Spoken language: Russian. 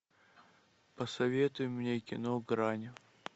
посоветуй мне кино грань